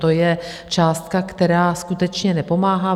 To je částka, která skutečně nepomáhá.